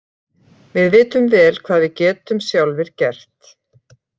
Við vitum vel hvað við getum sjálfir gert.